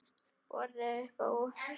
Boðið er uppá súpu.